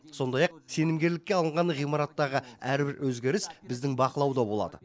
сондай ақ сенімгерлікке алынған ғимараттағы әрбір өзгеріс біздің бақылауда болады